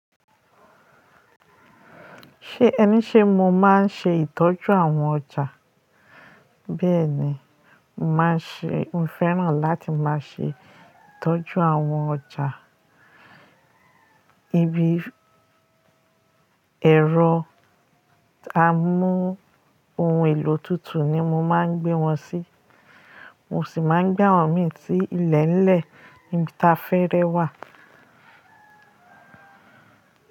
Ṣé ẹni ṣé mo máa ń ṣe ìtọ́jú àwọn ọjà? Bẹ́ẹ̀ ni, n màá ṣe, mo fẹ́ràn láti máa ṣe ìtọ́jú àwọn ọjà. Ibi ẹ̀rọ amóhun èlò tútù ni mo máa ń gbé wọn sí. Mo sì máa ń gbé àwọn mì tí ilẹ̀ẹ́ńlẹ̀ níbi táfẹ́rẹ́ wà.